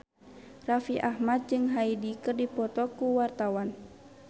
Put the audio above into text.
Raffi Ahmad jeung Hyde keur dipoto ku wartawan